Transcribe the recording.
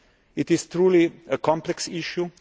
It is truly a complex issue.